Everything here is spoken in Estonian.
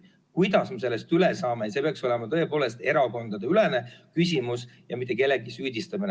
Kuidas me sellest üle saame, see peaks tegelikult olema erakondadeülene küsimus, mitte kellegi süüdistamine.